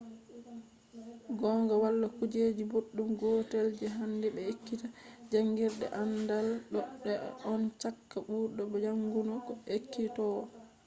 gongaa wala kuje boɗɗum gotel je handi be ekkita jaangirde aandaal ɗon fe’a on cakka bauɗo jaangungo e ekkitowo